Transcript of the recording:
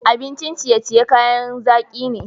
Abincin ciye-ciye kayan zaki ne.